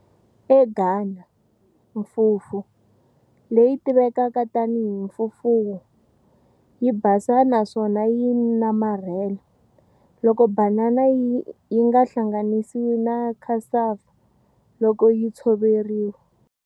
EGhana, fufu, leyi tivekaka tani hi fufuo, yi basa naswona ya namarhela, loko banana yinga hlanganisiwi na cassava loko yi tshoveriwa.